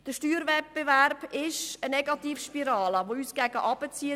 Der Steuerwettbewerb zwischen den Kantonen ist eine Negativspirale, die uns nach unten zieht.